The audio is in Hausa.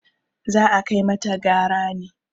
za a kai mata gara ne!